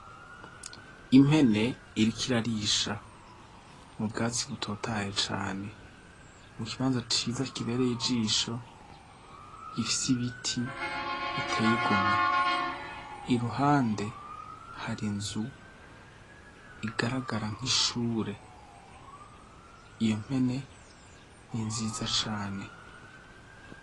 Impene iriko irarisha mu bwatsi butotaye cane mu kibanza ciza kibereye ijisho gifise ibiti iteyigomwe iruhande hari inzu igaragara nk'ishure iyo mpene ni nziza cane.